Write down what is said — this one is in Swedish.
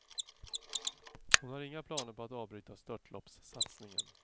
Hon har inga planer på att avbryta störtloppssatsningen.